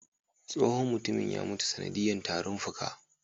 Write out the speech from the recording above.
Tsohon mutumin ya mutu ta sanadiya tarin fuka